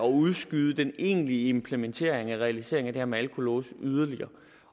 udskyde den egentlige implementering eller realisering af det her med alkolåse yderligere